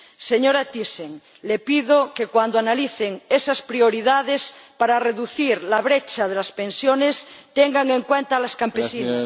Señora Thyssen, le pido que, cuando analicen esas prioridades para reducir la brecha de las pensiones, tengan en cuenta a las campesinas.